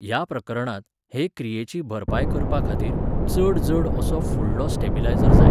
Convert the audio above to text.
ह्या प्रकरणांत, हे क्रियेची भरपाय करपाखातीर, चड जड असो फुडलो स्टेबिलायझर जाय.